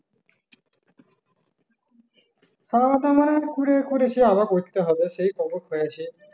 খাওয়া-দাওয়া করে করে করেছি আবার করতে হবে সে কখন হয়েছে